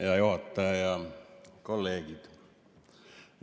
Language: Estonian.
Hea juhataja ja kolleegid!